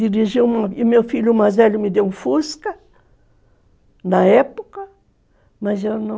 Dirigi, e meu filho, o mais velho, me deu um fusca, na época, mas eu não...